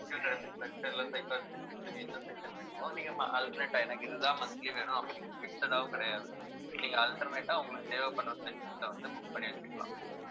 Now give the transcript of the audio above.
physiotherapy session இல்லை psychiatrist session என்ன session வேணுமோ நீங்க alternate ஆ எனக்கு இதுதான் monthly வேணும், அப்படின்னு fixed ஆவும் கிடையாது alternate ஆ உங்களுக்கு தேவைப்படுற sessions அ வந்து book பண்ணி வச்சுக்கலாம்